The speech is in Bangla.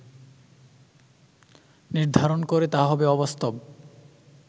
নির্ধারণ করে তা হবে অবাস্তব